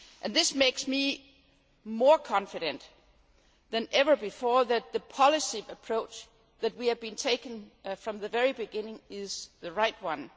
This makes me more confident than ever before that the policy approach that we have been taking from the very beginning is the right one.